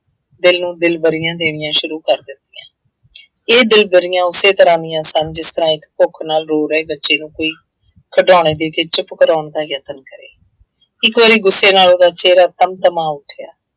ਦਿਲ ਨੂੰ ਦਿਲਬਰੀਆਂ ਦੇਣੀਆਂ ਸ਼ੁਰੂ ਕਰ ਦਿੱਤੀਆਂ। ਇਹ ਦਿਲਬਰੀਆਂ ਉਸੇ ਤਰ੍ਹਾਂ ਦੀਆਂ ਸਨ ਜਿਸ ਤਰ੍ਹਾਂ ਇੱਕ ਭੁੱਖ ਨਾਲ ਰੋ ਰਹੇ ਬੱਚੇ ਨੂੰ ਕੋਈ ਖਿਡਾਉਣੇ ਦੇ ਕੇ ਚੁੱਪ ਕਰਾਉਣ ਦਾ ਯਤਨ ਕਰੇ ਇੱਕ ਵਾਰੀ ਗੁੱਸੇ ਨਾਲ ਉਹਦਾ ਚਿਹਰਾ ਤਮ-ਤਮਾਾ ਉੱਠਿਆ।